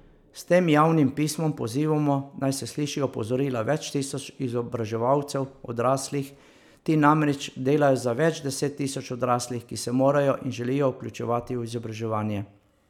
S tem javnim pismom pozivamo, naj se slišijo opozorila več tisoč izobraževalcev odraslih, ti namreč delajo za več deset tisoč odraslih, ki se morajo in želijo vključevati v izobraževanje.